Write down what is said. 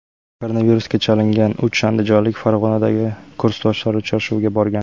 Koronavirusga chalingan uch andijonlik Farg‘onadagi kursdoshlar uchrashuviga borgan.